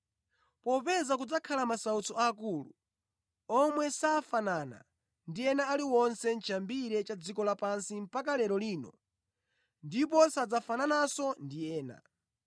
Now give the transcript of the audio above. Popeza kudzakhala masautso aakulu, omwe safanana ndi ena ali onse chiyambireni cha dziko lapansi mpaka lero lino ndipo sadzafanananso ndi ena.